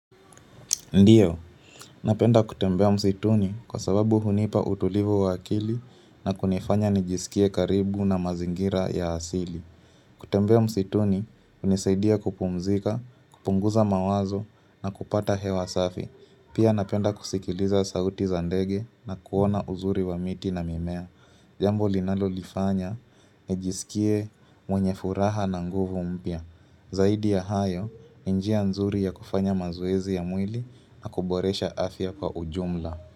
Ndiyo, napenda kutembea msituni kwa sababu hunipa utulivu wakili na kunifanya nijisikie karibu na mazingira ya asili. Kutembea msituni, unisaidia kupumzika, kupunguza mawazo na kupata hewa safi. Pia napenda kusikiliza sauti za ndege na kuona uzuri wa miti na mimea. Jambo linalo lifanya, nijisikie mwenye furaha na nguvu mpya Zaidi ya hayo, njia nzuri ya kufanya mazoezi ya mwili na kuboresha afya kwa ujumla.